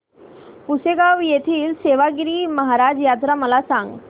पुसेगांव येथील सेवागीरी महाराज यात्रा मला सांग